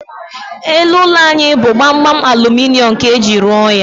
Elu ụlọ anyị bụ gbamgbam aluminium ka eji ruo ya